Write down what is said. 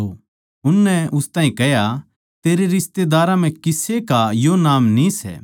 उननै उस ताहीं कह्या तेरै रिश्तेदारा म्ह किसे का यो नाम न्ही सै